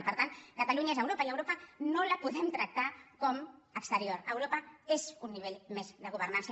i per tant catalunya és europa i europa no la podem tractar com exterior europa és un nivell més de governança